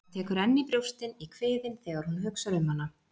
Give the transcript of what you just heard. Það tekur enn í brjóstin, í kviðinn, þegar hún hugsar um hana.